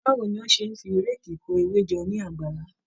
Báwo ni o ṣe ń fi réèkì kó ewé jọ ní àgbàlá?